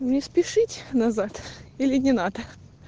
не спешить назад или не надо